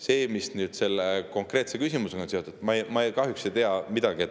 Sellest, mis selle konkreetse küsimusega seotud on, ma kahjuks ei tea midagi.